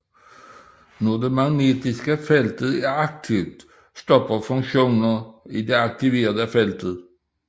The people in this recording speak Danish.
Når det magnetiske felt er aktivt stopper funktioner i det aktiverede felt